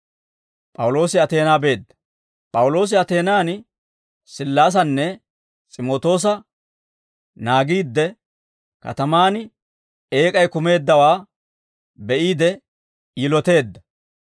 P'awuloosi Ateenaan Sillaasanne S'imootoosa naagiidde, katamaan eek'ay kumeeddawaa be'iide yiloteedda.